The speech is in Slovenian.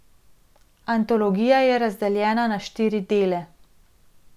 Antologija je razdeljena na štiri dele.